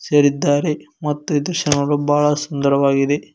ಸೇರಿದ್ದಾರೆ ಮತ್ತು ಈ ದೃಶ್ಯ ನೋಡಲು ತುಂಬಾ ಬಹಳ ಸುಂದರವಾಗಿದೆ.